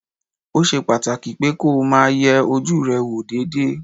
Ó ṣe pàtàkì pé kó o máa yẹ ojú rẹ wò déédéé